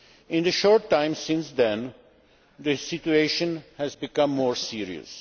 In the short time since then, the situation has become more serious.